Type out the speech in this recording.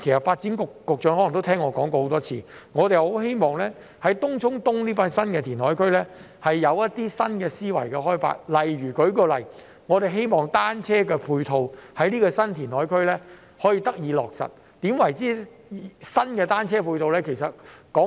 發展局局長可能也聽我說過很多次，我們很希望政府在開發東涌東這個新填海區時有新的思維，例如我們希望可以在這個新填海區落實新的單車配套。